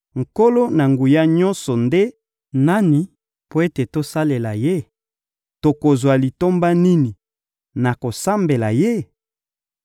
Nkolo-Na-Nguya-Nyonso nde nani mpo ete tosalela ye? Tokozwa litomba nini na kosambela ye?›